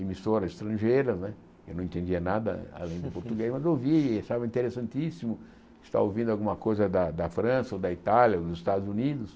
emissoras estrangeiras, né eu não entendia nada além do português, mas ouvia, estava interessantíssimo estar ouvindo alguma coisa da da França, ou da Itália, ou dos Estados Unidos.